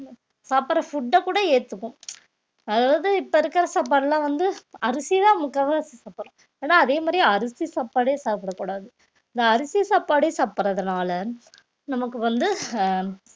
சாப்பிடுற food அ கூட ஏத்துக்கும் அதாவது இப்ப இருக்கிற சாப்பாடுலாம் வந்து அரிசிதான் முக்கால்வாசி சாப்பிடுறோம் ஆனா அதே மாதிரி அரிசி சாப்பாடே சாப்பிடக் கூடாது இந்த அரிசி சாப்பாடே சாப்பிடுறதுனால நமக்கு வந்து அஹ்